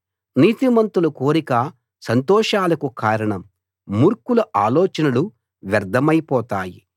నీతిమంతుల కోరిక సంతోషాలకు కారణం మూర్ఖుల ఆలోచనలు వ్యర్ధమైపోతాయి